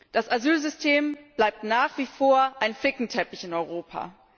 Das Asylsystem bleibt nach wie vor ein Flickenteppich in Europa.